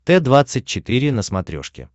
т двадцать четыре на смотрешке